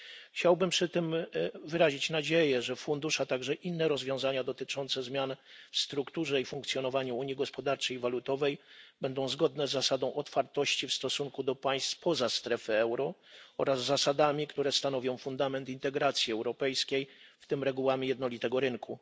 Chciałbym przy tym wyrazić nadzieję, że fundusz, a także inne rozwiązania dotyczące zmian w strukturze i funkcjonowaniu Unii Gospodarczej i Walutowej będą zgodne z zasadą otwartości w stosunku do państw spoza strefy euro oraz z zasadami, które stanowią fundament integracji europejskiej, w tym regułami jednolitego rynku.